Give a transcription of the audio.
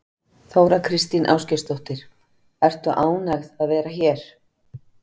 Þóra Kristín Ásgeirsdóttir: Ertu ánægð að vera hér?